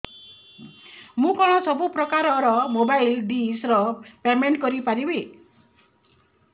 ମୁ କଣ ସବୁ ପ୍ରକାର ର ମୋବାଇଲ୍ ଡିସ୍ ର ପେମେଣ୍ଟ କରି ପାରିବି